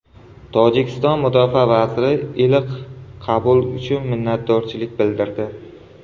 Tojikiston mudofaa vaziri iliq qabul uchun minnatdorchilik bildirdi.